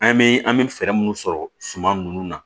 An bɛ an bɛ fɛɛrɛ minnu sɔrɔ suman nunnu na